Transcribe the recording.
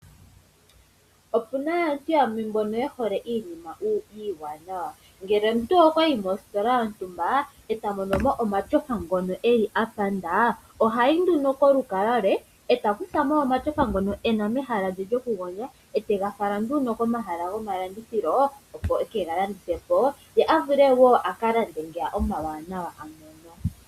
Opuna aantu yamwe mbono yehole iinima iiwanawa. Ngele omuntu okwayi mositola yontumba eta mono omatyofa ngono apanda, ohayi nduno kolukalwa lwe eta kuthamo omatyofa ngono ena mehala lye lyokugondja atega fala komahala gomalandithilo. Ohega landithapo ye avule oku kalanda ngeya omawanawa a mono.